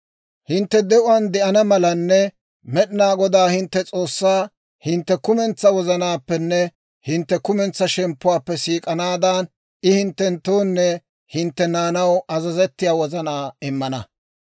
«Hintte de'uwaan de'ana malanne Med'inaa Godaa hintte S'oossaa hintte kumentsaa wozanaappenne hintte kumentsaa shemppuwaappe siik'anaadan, I hinttenttoonne hintte naanaw azazettiyaa wozanaa immana.